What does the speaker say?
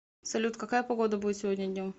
салют какая погода будет сегодня днем